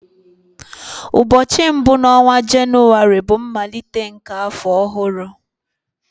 Ụbọọchi mbu na onwa Jenụwarị bụ mmalite nke afọ ọhụrụ.